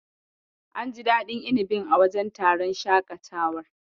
An ji daɗin inibin a wajen taron shakatawar.